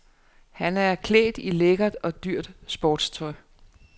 Han er klædt i lækkert og dyrt sportstøj.